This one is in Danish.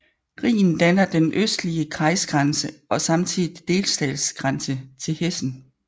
Rhinen danner den østlige kreisgrænse og samtidig delstatsgrænse til Hessen